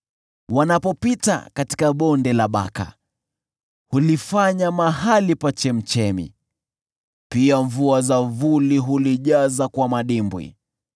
Wanapopita katika Bonde la Baka, hulifanya mahali pa chemchemi, pia mvua za vuli hulijaza kwa madimbwi.